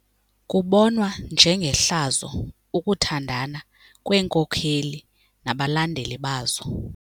Kubonwa njengehlazo ukuthandana kweenkokeli nabalandeli bazo.